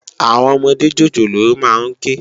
Áwòn òmòdé jójólóò má n ké